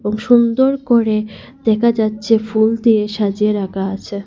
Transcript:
সুন্দর করে দেখা যাচ্ছে ফুল দিয়ে সাজিয়ে রাখা আছে।